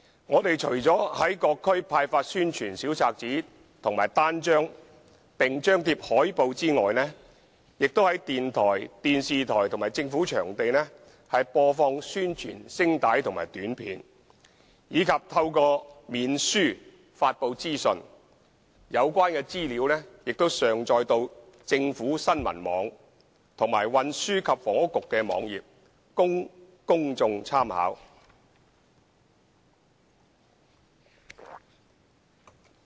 我們除了在各區派發宣傳小冊子和單張並張貼海報外，亦在電台、電視台和政府場地播放宣傳聲帶和短片，以及透過面書發布資訊，有關資料亦已上載到政府新聞網和運輸及房屋局的網頁，供公眾參考。